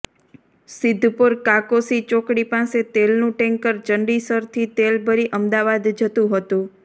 સિદ્ધપુર કાકોશી ચોકડી પાસે તેલનું ટેન્કર ચંડીસરથી તેલ ભરી અમદાવાદ જતું હતુ